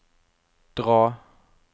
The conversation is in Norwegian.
dra